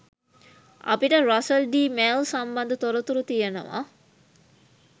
අපිට රසල් ඩී මෙල් සම්බන්ධ තොරතුරු තියෙනවා.